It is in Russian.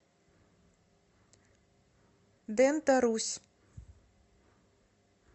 дента русь